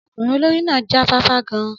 Ọmọkùnrin olórí náà já fáfá gan-an.